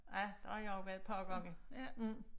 Ja der har jeg også været et par gange